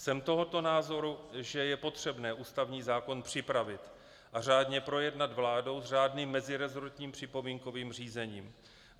Jsem toho názoru, že je potřebné ústavní zákon připravit a řádně projednat vládou s řádným meziresortním připomínkovým řízením.